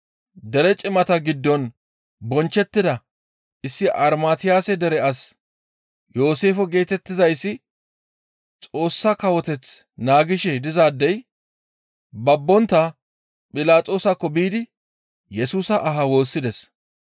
Dere cimata giddon bonchchettida issi Armatiyase dere as Yooseefe geetettizayssi Xoossa Kawoteth naagishe dizaadey babbontta Philaxoosakko biidi Yesusa aha woossides.